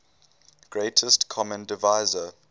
greatest common divisor